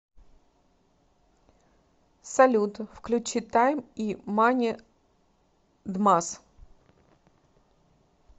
салют включи тайм и мани дмас